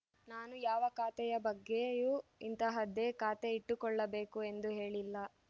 ನಾನು ಯಾವ ಖಾತೆ ಬಗ್ಗೆಯೂ ಇಂತಹದ್ದೇ ಖಾತೆ ಇಟ್ಟುಕೊಳ್ಳಬೇಕು ಎಂದು ಹೇಳಿಲ್ಲ